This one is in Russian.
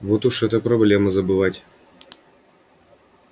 вот уж это проблема забывать